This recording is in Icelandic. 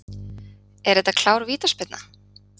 Er þetta klár vítaspyrna?